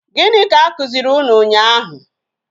Gịnị ka a kụziri unu ụnyaahụ?